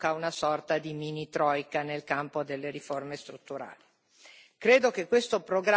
Non vogliamo che si riproduca una sorta di mini troika nel campo delle riforme strutturali.